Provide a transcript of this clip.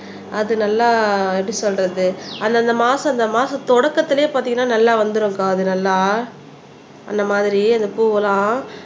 அது நல்லா எப்படி சொல்றது அந்தந்த மாசம் அந்த மாசம் தொடக்கத்திலேயே பாத்தீங்கன்னா நல்லா வந்துரும்ப்பா அது நல்லா அந்த மாதிரி அந்த பூவெல்லாம்